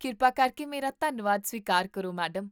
ਕਿਰਪਾ ਕਰਕੇ ਮੇਰਾ ਧੰਨਵਾਦ ਸਵੀਕਾਰ ਕਰੋ, ਮੈਡਮ!